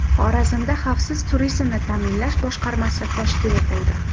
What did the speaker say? Xorazmda xavfsiz turizmni ta’minlash boshqarmasi tashkil etildi.